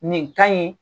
Nin ka ɲi